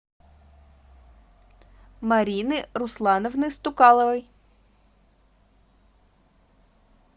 марины руслановны стукаловой